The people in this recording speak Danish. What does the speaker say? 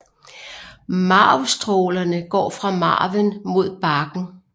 Marvstrålerne går fra marven mod barken